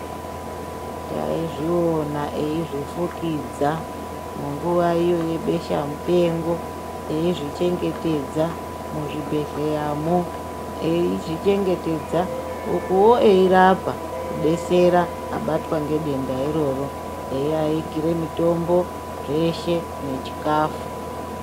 Tai zviona eizvi fukidza mu nguva iyo ye besha mupengo eizvi chengetedza mu zvibhedhleya mo eizvi chengetedza ukuwo eyi rapa ku detsera abatwa nge denda iroro eyi agire mitombo zveshe ne chikafu.